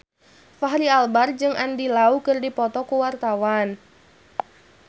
Fachri Albar jeung Andy Lau keur dipoto ku wartawan